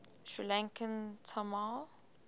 sri lankan tamil